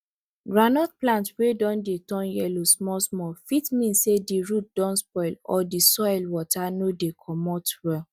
groundnut plant wey don dey turn yellow small small fit mean say di root don spoil or di soil water no dey comot well